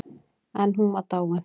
En hún var dáin.